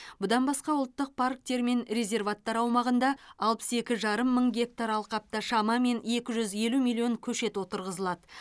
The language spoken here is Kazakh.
бұдан басқа ұлттық парктер мен резерваттар аумағында алпыс екі жарым мың гектар алқапта шамамен екі жүз елу миллион көшет отырғызылады